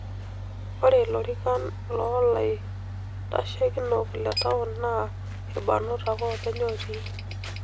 Iore lorikan lolaiteshikinok le taon naa ilbarnot ake oopeny otii.